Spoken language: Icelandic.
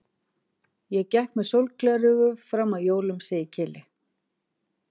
Ég gekk með sólgleraugu fram að jólum, segir Keli.